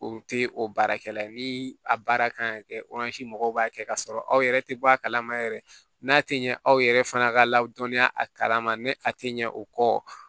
O tɛ o baarakɛla ye ni a baara kan ka kɛ mɔgɔw b'a kɛ ka sɔrɔ aw yɛrɛ tɛ bɔ a kalama yɛrɛ n'a tɛ ɲɛ aw yɛrɛ fana ka ladɔnniya a kalama ni a tɛ ɲɛ o kɔ